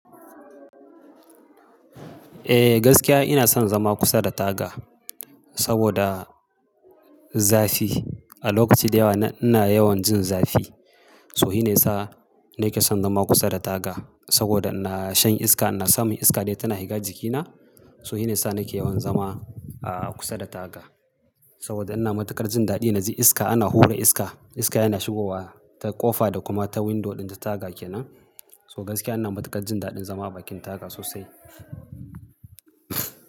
Eh gaskiya ina son zama kusa da taga, saboda zafi. A lokaci da yawa ina yawan jin zafi. So shi ne ya sa nake son zama kusa da taga. Saboda ina shan iska, ina samun iska dai tana higa jikina. Toh shi ne ya sa nake yawan zama a kusa da taga. Saboda ina matukar jin daɗi na ji iska ana hura iska. Iska yana shigowa ta ƙofa da kuma ta window ɗin da taga kenan. Toh gaskiya ina matuƙar jin daɗin zama a bakin taga sosai.